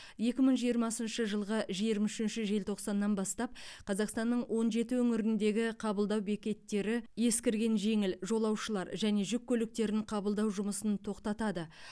екі мың жиырмасыншы жылғы жиырма үшінші желтоқсаннан бастап қазақстанның он жеті өңіріндегі қабылдау бекеттері ескірген жеңіл жолаушылар және жүк көліктерін қабылдау жұмысын тоқтатады